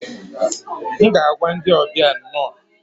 M ga-agwa ndị ọbịa 'nno'